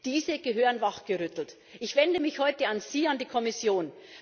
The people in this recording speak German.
Diese gehören wachgerüttelt. Ich wende mich heute Sie, an die Kommission.